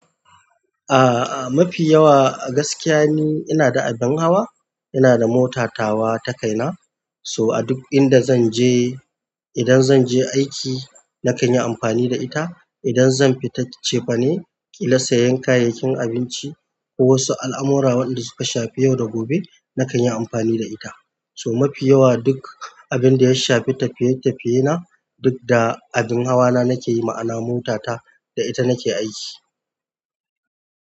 A, a mafi yawa gaskiya ni ina da abin hawa, ina da mota tawa takaina. To aduk inda zanje, idan zanje aiki nakanyi amfani da ita, idan zan fita cefane ƙila sayen kayayyakin abunci ko wasu al'amura wanda suka shafi yau da gobe, nakanyi amfani da ita to mafi yawa duk abinda ya shafi tafiye-tafiye na duk da abin hawa na nake yi ma'ana mota ta da ita nake aiki.